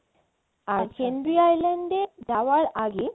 আর Henry আচ্ছা এ যাওয়ার আগে